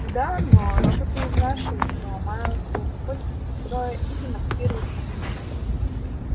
да но роботы изнашиваются ломаются выходят из строя и демонтируются